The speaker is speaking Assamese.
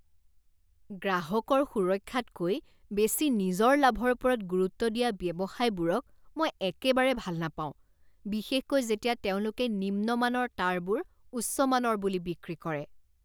গ্ৰাহকৰ সুৰক্ষাতকৈ বেছি নিজৰ লাভৰ ওপৰত গুৰুত্ব দিয়া ব্যৱসায়বোৰক মই একেবাৰে ভাল নাপাওঁ বিশেষকৈ যেতিয়া তেওঁলোকে নিম্নমানৰ তাঁৰবোৰ উচ্চ মানৰ বুলি বিক্ৰী কৰে।